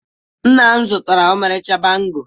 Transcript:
Nna m zụtara m ọmarịcha bangle